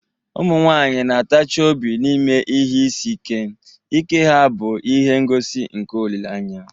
Ụmụ nwanyị na-atachi obi n'ime ihe isi ike, ike ha bụ ihe ngosi nke olileanya.